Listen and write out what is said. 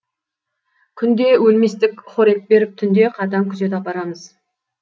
күнде өлместік хорек беріп түнде қатаң күзет апарамыз